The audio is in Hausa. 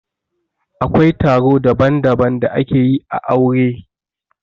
Akwai taro daban-daban da ake yi ã aure.